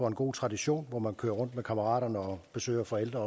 en god tradition hvor man kører rundt med kammeraterne og besøger forældre